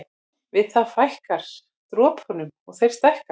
Við það fækkar dropunum og þeir stækka.